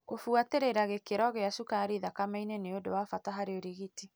Kũbuatĩrĩra gĩkĩro gia cukari thakameinĩ nĩ ũndũ wa bata harĩ ũrigiti.